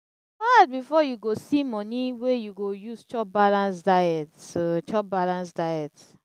hard before you go see moni wey you go use chop balanced diet. chop balanced diet.